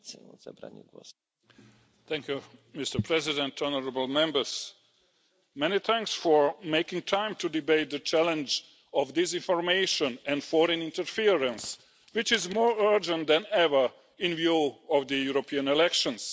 Mr President, honourable Members, many thanks for making time to debate the challenge of disinformation and foreign interference, which is more urgent than ever in view of the European elections.